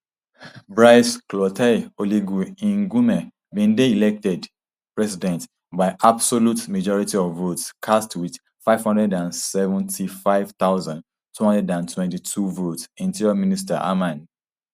brice clotaire oligui nguema bin dey elected [president] by absolute majority of votes cast wit five hundred and seventy-five thousand, two hundred and twenty-two votes interior minister hermann immongault hermann immongault announce